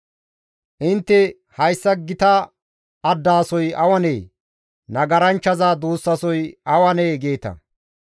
Intte, ‹Hayssa gita addaasoy awanee? Nagaranchchaza duussasoy awanee?› geeta.